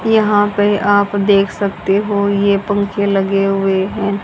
यहां पे आप देख सकते हो ये पंखे लगे हुए हैं।